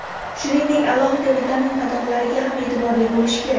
Shuningdek, alohida vitamin qadoqlariga ham e’tiborli bo‘lish kerak.